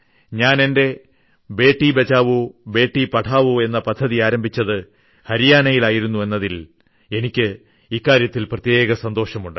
ഞാൻ എന്റെ ബേട്ടി ബചാവോ ബേട്ടി പഠാവോ എന്ന പദ്ധതി ആരംഭിച്ചത് ഹരിയാനയിലായിരുന്നു എന്നതിനാൽ എനിക്ക് ഇക്കാര്യത്തിൽ പ്രത്യേക സന്തോഷമുണ്ട്